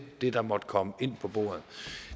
det der måtte komme på bordet